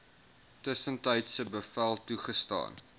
tussentydse bevel toegestaan